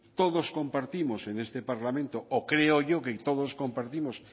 todos compartimos en este parlamento o creo yo que todos competimos